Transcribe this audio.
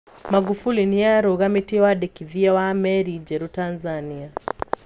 Magufuli niarũgamitie wandĩkithia wa meri njerũ Tanzania .